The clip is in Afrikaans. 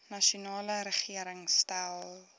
nasionale regering stel